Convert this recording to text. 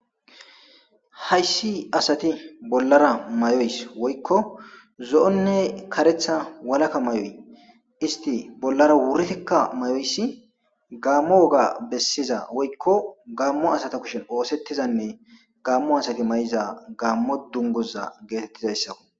Hayssi asati bollara may7oys woykko zo7onne karetha walakka may7oy isti bollara wuritikka may7oyssi gaammo woga bessiza woykko gaammo asata kushin oosettizanne gaammo asati may7iza gaammo dunguza geetettizayssao.